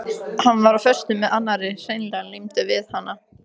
Hann var á föstu með annarri, hreinlega límdur við hana.